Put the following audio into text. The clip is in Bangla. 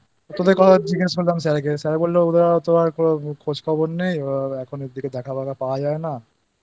তোদের কথা জিজ্ঞাসা করলাম Sir বলল তো আর কোনও খোঁজ খবর নেই